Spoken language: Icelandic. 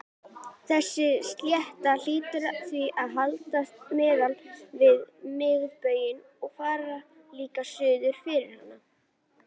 Þessi slétta hlýtur því að hallast miðað við miðbaug og fara líka suður fyrir hann.